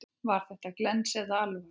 Var þetta glens eða alvara?